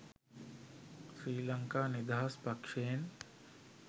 ශ්‍රී ලංකා නිදහස් පක්ෂයෙන්.